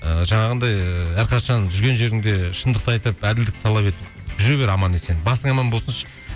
ыыыы жаңағындай әрқашан жүрген жеріңде шындықты айтып әділдікті талап етіп жүре бер аман есен басың аман болсыншы